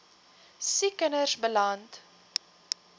siek kinders beland